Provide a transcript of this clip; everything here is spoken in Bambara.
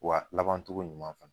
Wa laban togo ɲuman fana